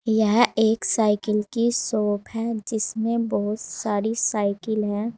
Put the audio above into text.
यह एक साइकिल की शॉप है जिसमें बहुत सारी साइकिल हैं।